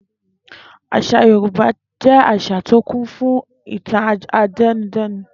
Às̩à Yorùbá jé̩ às̩à tí ó kún fún ìtàn àte̩nudé̩nu